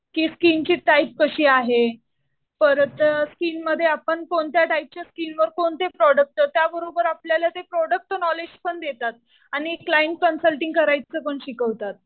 कि स्किनची टाईप कशी आहे. परत स्किनमध्ये आपण कोणत्या टाईपच्या स्किन वर कोणते प्रोडक्ट. त्याबरोबर ते आपल्याला प्रोडक्टचं नॉलेज पण देतात. आणि क्लाइंट कन्सल्टिंग करायचं पण शिकवतात.